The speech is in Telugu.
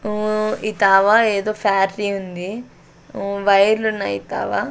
ఊ ఈ తావ ఏదో ఫ్యాక్టరీ ఉంది వైర్లు ఉన్నాయి ఈ తావా.